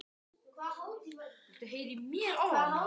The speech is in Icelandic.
Haraldur Guðnason, bókavörður í Vestmannaeyjum, rifjar upp